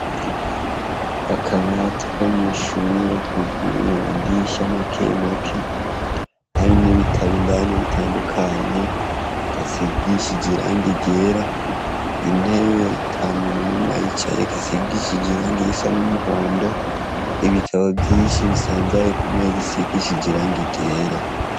Akabati ko mw'ishure kuguruye amadisha make make harimwo ibitabo indani bitandukanye gasigishije irangi ryera. Intebe ata muntu numwe ayicayeko isigishije irangi risa n'umuhondo ibitabo vyinshi bisanzaye ku meza isigishije irangi ryera.